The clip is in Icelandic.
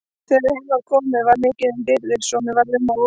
Þegar heim kom var mikið um dýrðir svo mér varð um og ó.